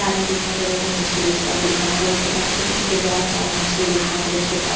आदमी दिखाई दे रहा है जो मछली बेसता हुआ दिखाई दे रहा है उसके पास छोटे-छोटे बहुत सारे मछली दिखाई दे रहे उसके पास --